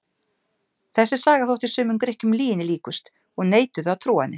Þessi saga þótti sumum Grikkjum lyginni líkust og neituðu að trúa henni.